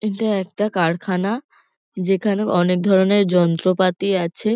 এটা একটা কারখানা। যেখানে অনেক ধরণের যন্ত্রপাতি আছে।